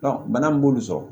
bana min b'olu sɔrɔ